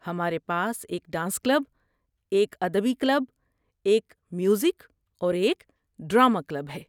ہمارے پاس ایک ڈانس کلب، ایک ادبی کلب، ایک میوزک اور ایک ڈرامہ کلب ہے۔